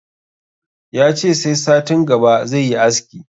Yace sai satin gaba zai yi aski